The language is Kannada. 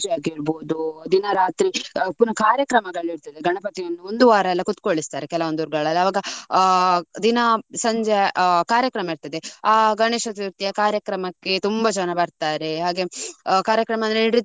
ಪೂಜೆ ಆಗಿರ್ಬೋದು. ದಿನ ರಾತ್ರಿ ಪುನಃ ಕಾರ್ಯಕ್ರಮಗಳು ಇರ್ತದೆ. ಗಣಪತಿಯನ್ನು ಒಂದು ವಾರ ಎಲ್ಲ ಕೂತ್ಕೊಳ್ಳಿಸ್ತಾರೆ ಕೆಲವೊಂದು ಊರುಗಳಲ್ಲಿ ಅವಾಗ ಆ ದಿನ. ಸಂಜೆ ಕಾರ್ಯಕ್ರಮ ಇರ್ತದೆ. ಆ ಗಣೇಶ ಚತುರ್ಥಿ ಯ ಕಾರ್ಯಕ್ರಮಕ್ಕೆ ತುಂಬಾ ಜನ ಬರ್ತಾರೆ. ಹಾಗೆ ಕಾರ್ಯಕ್ರಮ ಅಂದ್ರೆ ನೃತ್ಯ.